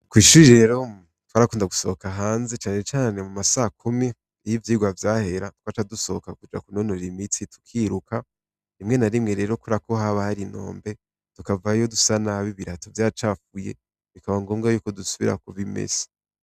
Kw'ishure rero twarakunda gusohoka hanze canecane mu ma sakumi niho ivyigwa vyahera . Twaca dusohoka kuja kunonora imitsi, tukiruka rimwe na rimwe rero kubera ko haba har'inombe tukavayo dusa nabi ibirato vyacafuye , bikaba ngombwa yuko dusubira kubimesa.